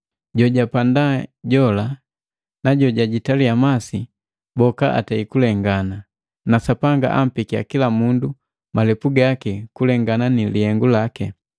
Jojapanda jola na jojajitaliya masi boka atei kulengana, na Sapanga ampekiya kila mundu apekia malepu gaki kukulengana ni lihengu laki.